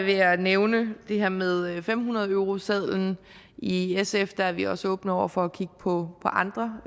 jeg nævne det her med fem hundrede eurosedlen i sf er vi også åbne over for at kigge på andre